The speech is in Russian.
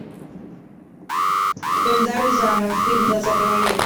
эльдар рязанов фильм двадцатого века